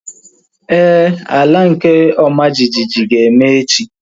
Éè, ala nke ọma jijiji ga-eme echi